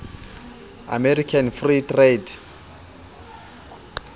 american free trade